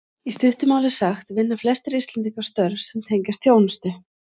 Í stuttu máli sagt vinna flestir Íslendingar störf sem tengjast þjónustu.